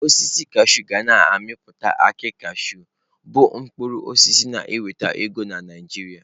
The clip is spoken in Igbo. Osisi kashụụ ga na-amịpụta akị kashụụ bụ mkpụrụ osisi na-enweta ego na Naịjirịa.